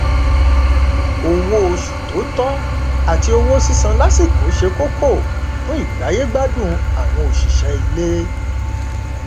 owó oṣù tó tọ àti owó sísan lásìkò ṣe kókó fún ìgbáyégbádùn àwọn òṣìṣẹ ilé